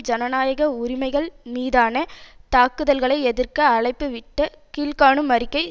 ஜனநாயக உரிமைகள் மீதான தாக்குதல்களை எதிர்க்க அழைப்பு விட்ட கீழ் காணும் அறிக்கை